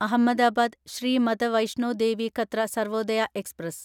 Ahmedabad Shri Mata Vaishno Devi Katra Sarvodaya express